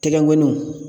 Tɛgɛnw